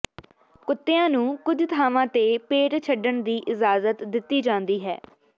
ਕੁੱਤਿਆਂ ਨੂੰ ਕੁਝ ਥਾਵਾਂ ਤੇ ਪੇਟ ਛੱਡਣ ਦੀ ਇਜਾਜ਼ਤ ਦਿੱਤੀ ਜਾਂਦੀ ਹੈ